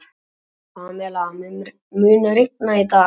Pamela, mun rigna í dag?